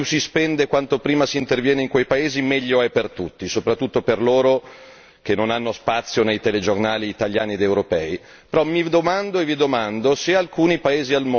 Quindi, al di là del fatto che ovviamente quanto più si spende, quanto prima si interviene in quei paesi meglio è per tutti, soprattutto per loro che non hanno spazio nei telegiornali italiani ed europei.